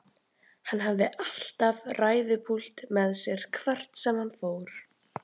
Hann hafði alltaf ræðupúlt með sér hvert sem hann fór.